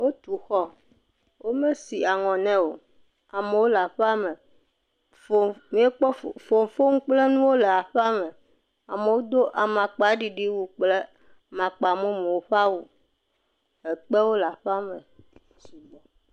Wotu xɔ. Wome si aŋɔ ne o. Amewo le aƒea me fuu. M]ekpɔ fofonu. Fofonu kple nuwo le aƒea me. Amewo do amakpaɖiɖiwu kple amakpamumu ƒe awu.